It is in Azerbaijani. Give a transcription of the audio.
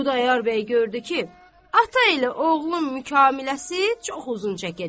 Xudayar bəy gördü ki, ata elə oğlun mükaləməsi çox uzun çəkəcək.